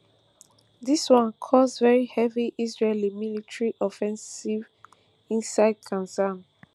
dis one cause very heavy israeli military offensive inside gaza